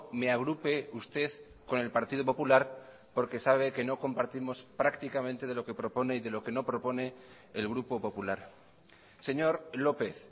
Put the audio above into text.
me agrupe usted con el partido popular porque sabe que no compartimos prácticamente de lo que propone y de lo que no propone el grupo popular señor lópez